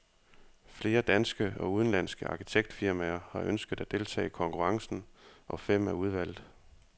Flere danske og udenlandske arkitektfirmaer har ønsket at deltage i konkurrencen, og fem er udvalgt.